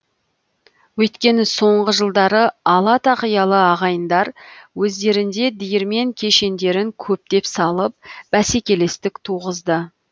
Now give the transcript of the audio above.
өйткені соңғы жылдары ала тақиялы ағайындар өздерінде диірмен кешендерін көптеп салып бәсекелестік туғызды